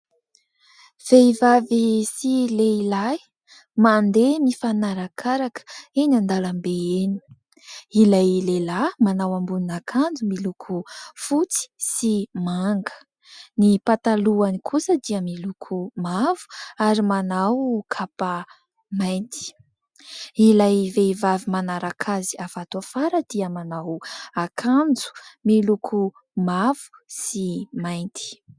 Vehivavy sy lehilahy mandeha mifanarakaraka eny an-dàlambe eny. Ilay lehilahy manao ambonina akanjo miloko fotsy sy manga, ny patalohany kosa dia miloko mavo ary manao kapa mainty. Ilay vehivavy manaraka azy avy ato afara dia manao akanjo miloko mavo sy mainty.